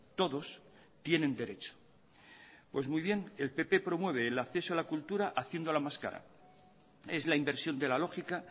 todos tienen derecho pues muy bien el pp promueve el acceso a la cultura haciéndola más cara es la inversión de la lógica